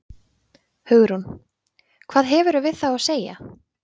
Hugrún: Hvað hefurðu við þá að segja?